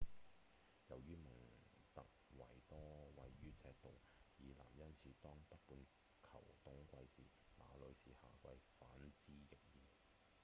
由於蒙特維多位於赤道以南因此當北半球冬季時那裡是夏季反之亦然